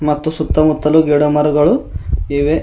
ಮತ್ತು ಸುತ್ತ ಮುತ್ತಲು ಗಿಡಮರಗಳು ಇವೆ.